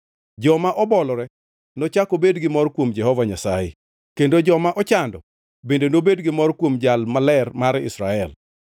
Joma obolore nochak obed gi mor kuom Jehova Nyasaye; kendo joma ochando, bende nobed gi mor kuom Jal Maler mar Israel.